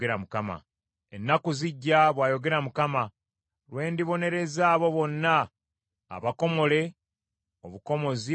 “Ennaku zijja,” bw’ayogera Mukama , “lwe ndibonereza abo bonna abakomole obukomozi mu mubiri: